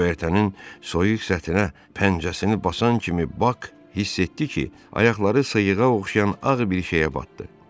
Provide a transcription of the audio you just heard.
Göyərtənin soyuq səthinə pəncəsini basan kimi Bak hiss etdi ki, ayaqları sıyığa oxşayan ağ bir şeyə batdı.